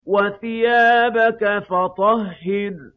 وَثِيَابَكَ فَطَهِّرْ